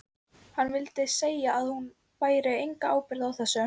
Hann vildi segja að hún bæri enga ábyrgð á þessu.